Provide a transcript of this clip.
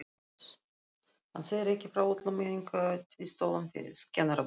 Hann segir ekki frá öllum einkaviðtölunum við kennaraborðið.